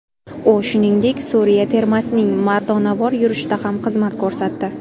U, shuningdek, Suriya termasining mardonavor yurishida ham xizmat ko‘rsatdi.